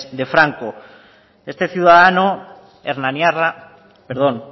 de franco este ciudadano hernaniarra perdón